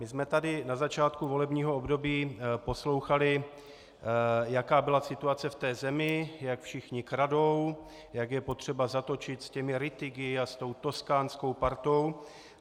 My jsme tady na začátku volebního období poslouchali, jaká byla situace v té zemi, jak všichni kradou, jak je potřeba zatočit s těmi Rittigy a s tou toskánskou partou.